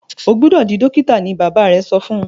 o gbódò dì dókítà! ní bàbá rẹ so fún.